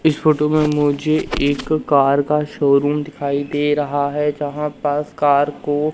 इस फोटो में मुझे एक कार का शोरूम दिखाई दे रहा है जहां पास कार को--